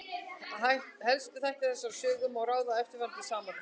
Helstu þætti þessarar sögu má ráða af eftirfarandi samantekt.